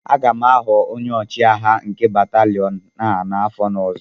Aga m aghọ onye ọchịagha nke batalịon a n'afọ ọzọ